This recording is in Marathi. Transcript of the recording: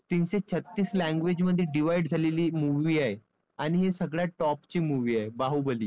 तीनशे छत्तीस language मध्ये divide झालेली movie आहे आणि हे सगळ्यात top ची movie आहे बाहुबली.